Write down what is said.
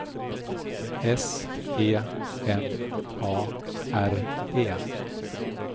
S E N A R E